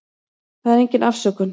Það er engin afsökun.